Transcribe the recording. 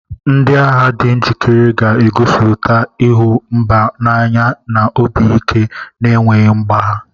Ndị agha di njikere ga-egosipụta ịhụ mba n'anya na obi ike na-enweghị mgbagha.